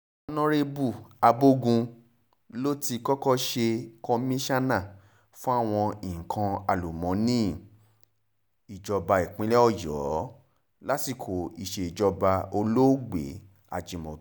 ọ̀nàrẹ́bù abogun ló ti kọ́kọ́ ṣe kọ́míkànnà fáwọn nǹkan àlùmọ́ọ́nì ìjọba ìpínlẹ̀ ọ̀yọ́ lásìkò ìsejọba olóògbé ajímọ́bí